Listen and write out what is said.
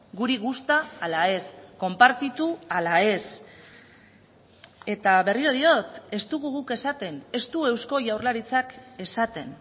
guri gusta ala ez konpartitu ala ez eta berriro diot ez dugu guk esaten ez du eusko jaurlaritzak esaten